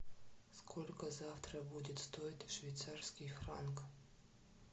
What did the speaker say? сколько завтра будет стоить швейцарский франк